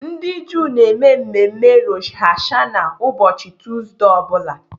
Ndị Juu na-eme mmemme Rosh Hashanah ụbọchị tọọzdee ọ bụla.